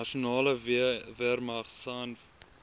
nasionale weermag sanw